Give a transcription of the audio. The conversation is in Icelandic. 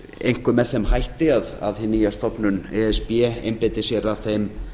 einkum með þeim hætti að hin nýja stofnun e s b einbeiti sér að þeim